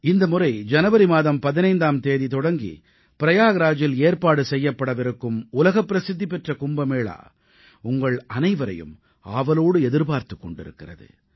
இந்த முறை ஜனவரி மாதம் 15ஆம் தேதி தொடங்கி பிரயாக்ராஜில் ஏற்பாடு செய்யப்படவிருக்கும் உலகப் பிரசித்தி பெற்ற கும்பமேளா உங்கள் அனைவரையும் ஆவலோடு எதிர்பார்த்துக் கொண்டிருக்கிறது